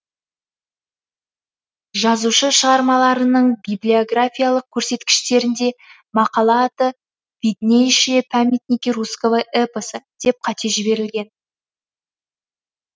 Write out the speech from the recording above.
жазушы шығармаларының библиографиялық көрсеткіштерінде мақала аты виднейшие памятники русского эпоса деп қате жіберілген